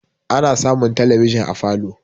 ana samun talabiji a falo